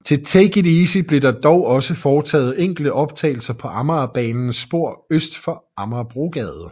Til Take It Easy blev der dog også foretaget enkelte optagelser på Amagerbanens spor øst for Amagerbrogade